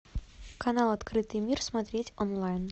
канал открытый мир смотреть онлайн